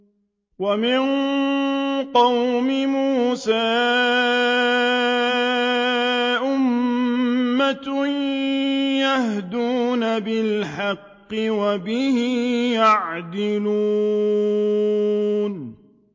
وَمِن قَوْمِ مُوسَىٰ أُمَّةٌ يَهْدُونَ بِالْحَقِّ وَبِهِ يَعْدِلُونَ